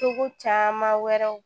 Cogo caman wɛrɛw